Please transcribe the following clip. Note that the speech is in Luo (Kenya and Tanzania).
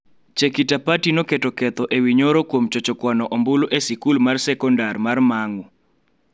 Chekitapati noketo ketho e wi Nyoro kuom chocho kwano ombulu e sikul mar sekondar mar Mang'u